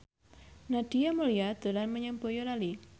Nadia Mulya dolan menyang Boyolali